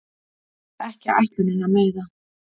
Ekki ætlunin að meiða